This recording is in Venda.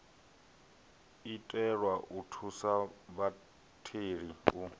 itelwa u thusa vhatheli u